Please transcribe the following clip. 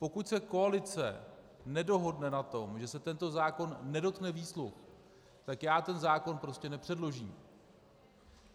Pokud se koalice nedohodne na tom, že se tento zákon nedotkne výsluh, tak já ten zákon prostě nepředložím.